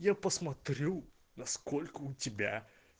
я посмотрю на сколько у тебя